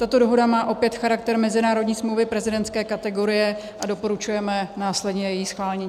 Tato dohoda má opět charakter mezinárodní smlouvy prezidentské kategorie a doporučujeme následně její schválení.